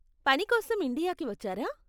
పని కోసం ఇండియాకి వచ్చారా?